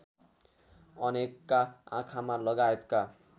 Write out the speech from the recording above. अनेकका आँखामा लगायतका